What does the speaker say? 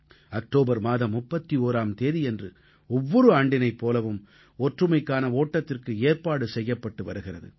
October மாதம் 31ஆம் தேதியன்று ஒவ்வொரு ஆண்டினைப் போலவும் ஒற்றுமைக்கான ஓட்டத்திற்கு ஏற்பாடு செய்யப்பட்டு வருகிறது